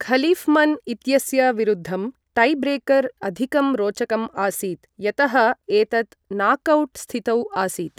Khalifman इत्यस्य विरुद्धं tiebreaker अधिकं रोचकम् आसीत्, यतः एतत् नाकौट् स्थितौ आसीत्।